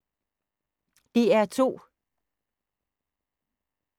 DR2